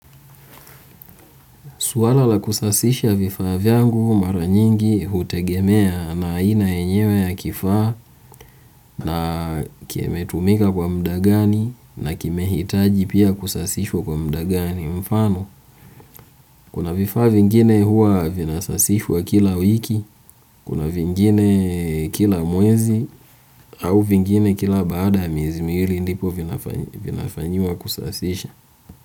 Swala la kusasisha vifaa vyangu mara nyingi hutegemea na aina yenyewe ya kifaa na kimetumika kwa muda gani na kimehitaji pia kusasishwa kwa muda gani mfano kuna vifaa vingine huwa vinasasishwa kila wiki, kuna vingine kila mwezi au vingine kila baada miezi miwili ndipo vinafanyiwa kusasisha.